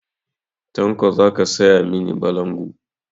Tanko za ka saya mani balangu?